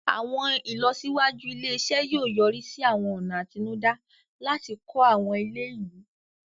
Àwọn ìlọsíwájú ilé-iṣẹ́ yóò yọrí sí àwọn ọ̀nà àtinúdá láti kọ́ àwọn ilé ìlú.